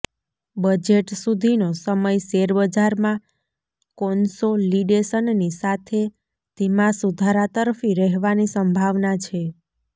budget સુધીનો સમય શેરબજારમાં કોન્સોલિડેશનની સાથે ધીમા સુધારાતરફી રહેવાની સંભાવના છે